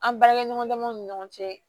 An baarakɛɲɔgɔn damaw ni ɲɔgɔn cɛ